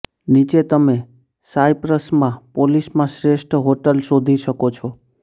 નીચે તમે સાયપ્રસમાં પોલિસમાં શ્રેષ્ઠ હોટલ શોધી શકો છો